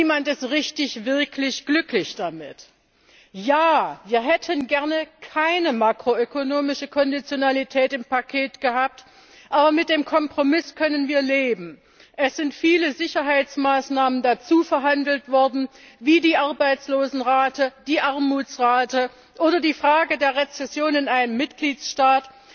niemand ist wirklich richtig glücklich damit. Ja, wir hätten gerne keine makro ökonomische Konditionalität im Paket gehabt, aber mit dem Kompromiss können wir leben Es sind viele Sicherheitsmaßnahmen dazuverhandelt worden, wie die Arbeitslosenrate, die Armutsrate oder die Frage der Rezession in einem Mitgliedstaat